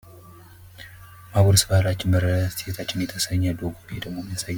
ማጉረስ ባህላችን መረዳዳት እሴታችን የተሰኘ ሎጎ ይሄ ደግሞ የሚያሳየው።